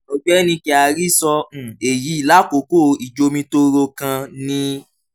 ọgbẹni kyari sọ um eyi lakoko ijomitoro kan ni